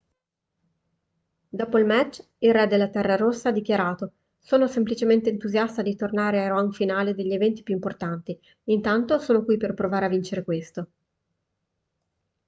dopo il match il re della terra rossa ha dichiarato sono semplicemente entusiasta di tornare ai round finali degli eventi più importanti intanto sono qui per provare a vincere questo